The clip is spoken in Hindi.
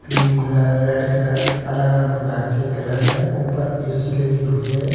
क्रिम कलर रेड कलर अलग अलग प्रकार के कलर है ऊपर ए_सी लगी हुई है।